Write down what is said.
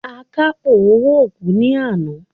Akápò owó kú ní àná.